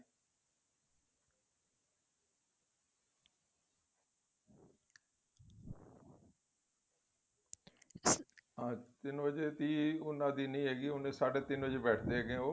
ਤਿੰਨ ਵਜੇ ਦੀ ਉਹਨਾ ਦੀ ਨਹੀਂ ਹੈਗੀ ਏ ਉਹਨੇ ਸਾਢ਼ੇ ਤਿੰਨ ਵਜੇ ਬੈਠਦੇ ਹੈਗੇ ਏ ਉਹ